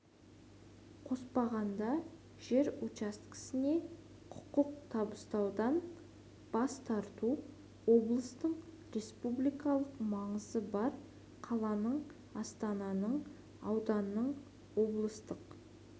қоспағанда жер учаскесіне құқық табыстаудан бас тарту облыстың республикалық маңызы бар қаланың астананың ауданның облыстық